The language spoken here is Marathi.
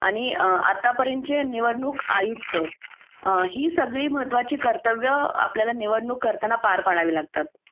आणि आत्तापर्यंतचे निवडणूक आयुक्त ही सगळी महत्त्वाची कर्तव्य आपल्याला निवडणूक करताना पार पाडावी लागतात